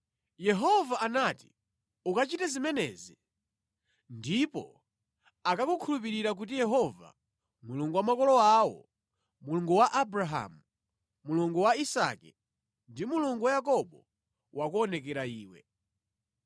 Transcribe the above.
Yehova anati, “Ukachite zimenezi ndipo akakukhulupirira kuti Yehova, Mulungu wa makolo awo, Mulungu wa Abrahamu, Mulungu wa Isake ndi Mulungu wa Yakobo, wakuonekera iwe.”